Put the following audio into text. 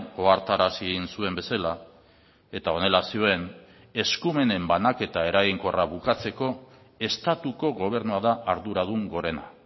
ohartarazi zuen bezala eta honela zioen eskumenen banaketa eraginkorra bukatzeko estatuko gobernua da arduradun gorena